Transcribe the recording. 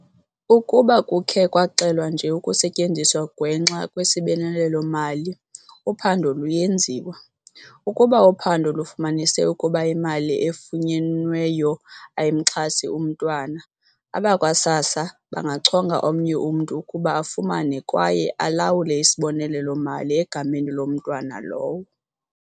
"Ukuba kukhe kwaxelwa nje ukusetyenziswa ngwenxa kwesibonelelo-mali, uphando luyenziwa. Ukuba uphando lufumanise ukuba imali efunyenweyo ayimxhasi umntwana, abakwa-SASSA bangachonga omnye umntu ukuba afumane kwaye alawule isibonelelo-mali egameni lomntwana lowo."